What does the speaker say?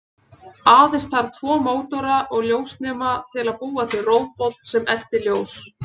Aðeins þarf tvo mótora og ljósnema til að búa til róbot sem eltir ljós.